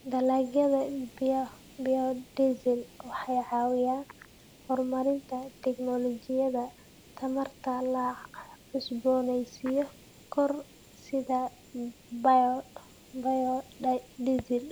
Dalagyada biodiesel waxay caawiyaan horumarinta tignoolajiyada tamarta la cusboonaysiin karo sida biodiesel.